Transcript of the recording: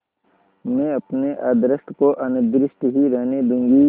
मैं अपने अदृष्ट को अनिर्दिष्ट ही रहने दूँगी